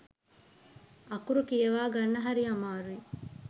අකුරු කියවා ගන්න හරි අමාරුයි.